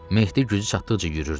Mehdi gücü çatdıqca yürüyürdü.